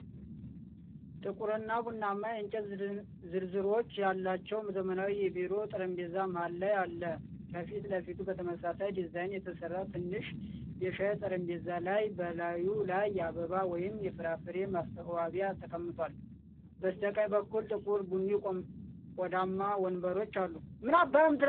ጥቁር እና ቡናማ የእንጨት ዝርዝሮች ያለው ዘመናዊ የቢሮ ጠረጴዛ መሀል ላይ አለ። ከፊት ለፊቱ በተመሳሳይ ዲዛይን የተሰራ ትንሽ የሻይ ጠረጴዛ ላይ፤ በላዩ ላይ የአበባ ወይም የፍራፍሬ ማስዋቢያ ተቀምጧል። በስተቀኝ በኩል ጥቁር ቡኒ ቆዳማ ወንበሮች አሉ።